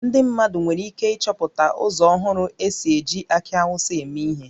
Ndị mmadụ nwere ike ịchọpụta ụzọ ọhụrụ e si eji akị Awụsa eme ihe